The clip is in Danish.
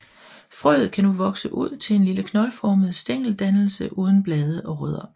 Frøet kan nu vokse ud til en lille knoldformet stængeldannelse uden blade og rødder